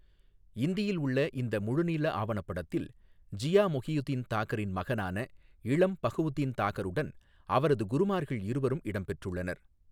ஹிந்தியில் உள்ள இந்த முழு நீள ஆவணப்படத்தில், ஜியா மொகியுதீன் தாகரின் மகனான இளம் பஹவுதீன் தாகருடன் அவரது குருமார்கள் இருவரும் இடம்பெற்றுள்ளனர்.